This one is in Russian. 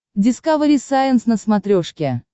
дискавери сайенс на смотрешке